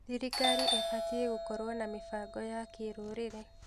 Thirikari ĩbatiĩ gũkorwo na mĩbango ya kĩrũrĩrĩ.